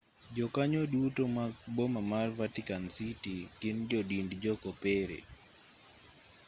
jokanyo duto mag boma mar vatican city gin jo dind jo kopere